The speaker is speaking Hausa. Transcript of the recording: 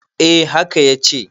eh haka ya ce